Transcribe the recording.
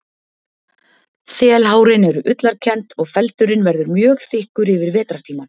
Þelhárin eru ullarkennd og feldurinn verður mjög þykkur yfir vetrartímann.